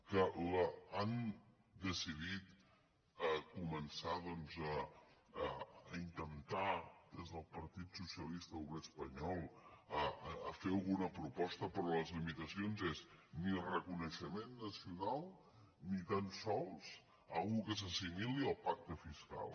que han decidit començar doncs a intentar des del partit socialista obrer espanyol a fer alguna proposta pe·rò les limitacions són ni reconeixement nacional ni tan sols alguna cosa que s’assimili al pacte fiscal